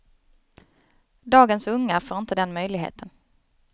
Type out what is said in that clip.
Dagens unga får inte den möjligheten.